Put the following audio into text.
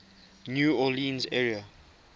new orleans area